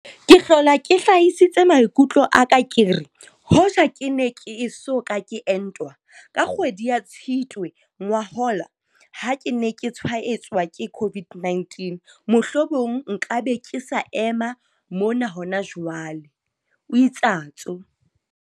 Ke hlola ke hlahisitse maikutlo a ka ke re, hoja ke ne ke eso ka ke entwa, ka kgwedi ya Tshitwe ngwahola ha ke ne ke tshwaetswa ke COVID-19, mohlomong nka be ke sa ema mona hona jwale, o itsatso.